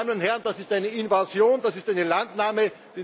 Meine Damen und Herren, das ist eine Invasion, das ist eine Landnahme!